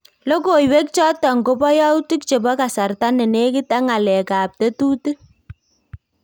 Lokooyweek choton koboo yautik chebo kasarta nenekit ak ng'aleekab tetuutik